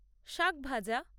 শাক ভাজা